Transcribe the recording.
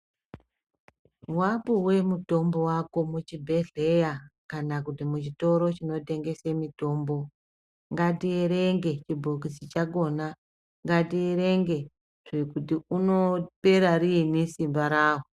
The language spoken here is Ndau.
Wapiwa mutombo wako muchibhehleya kana muchitoro chinotengeswa mitombo ngatierenge chibhokisi chakona ngatierenge kuti unopera riini simba rawo